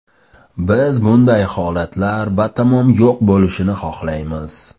Biz bunday holatlar batamom yo‘q bo‘lishini xohlaymiz.